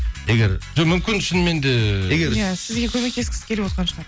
егер жоқ мүмкін шынымен де сізге көмектескісі келіп отырған шығар